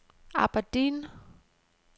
Aberdeen